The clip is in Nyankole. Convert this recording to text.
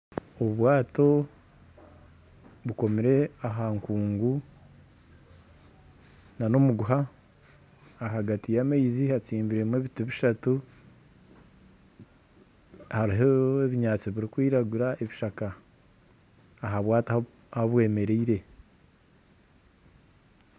Obwato bukomire aha nkungu na n'omuguha ahagati y'amaizi hatsibiremu ebiti bishatu hariho ebishaka birikwiragura aha bwato ahu bwemereire.